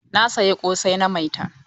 Na saya ƙosai na Maitan.